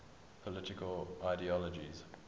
political ideologies